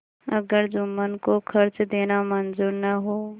अगर जुम्मन को खर्च देना मंजूर न हो